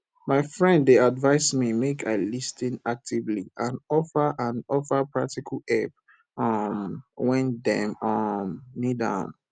my friend dey advise me make i lis ten actively and offer and offer practical help um wen dem um need am